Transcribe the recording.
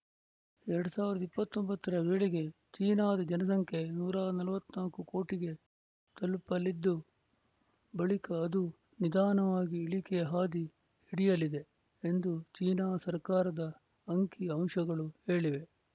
ಎರಡ್ ಸಾವಿರದ ಇಪ್ಪತ್ತ್ ಒಂಬತ್ತರ ವೇಳೆಗೆ ಚೀನಾದ ಜನಸಂಖ್ಯೆ ನೂರ ನಲವತ್ತ್ ನಾಲ್ಕು ಕೋಟಿಗೆ ತಲುಪಲಿದ್ದು ಬಳಿಕ ಅದು ನಿಧಾನವಾಗಿ ಇಳಿಕೆಯ ಹಾದಿ ಹಿಡಿಯಲಿದೆ ಎಂದು ಚೀನಾ ಸರ್ಕಾರದ ಅಂಕಿ ಅಂಶಗಳು ಹೇಳಿವೆ